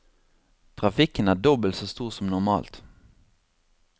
Trafikken er dobbelt så stor som normalt.